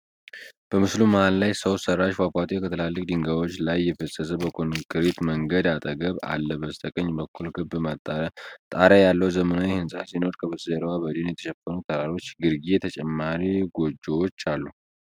በምስሉ መሃል ላይ፣ ሰው ሰራሽ ፏፏቴ ከትላልቅ ድንጋዮች ላይ እየፈሰሰ በኮንክሪት መንገድ አጠገብ አለ። በስተቀኝ በኩል ክብ ጣሪያ ያለው ዘመናዊ ህንፃ ሲኖር፣ ከበስተጀርባ በደን የተሸፈኑ ተራሮች ግርጌ ተጨማሪ ጎጆዎች አሉ።